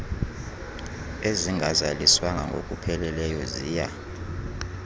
ezingazaliswanga ngokupheleleyo ziya